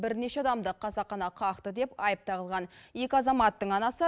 бірнеше адамды қасақана қақты деп айып тағылған екі азаматтың анасы